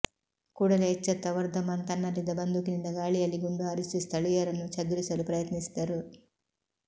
ಕೂಡಲೇ ಎಚ್ಚೆತ್ತ ವರ್ಧಮಾನ್ ತನ್ನಲ್ಲಿದ್ದ ಬಂದೂಕಿನಿಂದ ಗಾಳಿಯಲ್ಲಿ ಗುಂಡು ಹಾರಿಸಿ ಸ್ಥಳಿಯರನ್ನು ಚದುರಿಸಲು ಪ್ರಯತ್ನಿಸಿದರು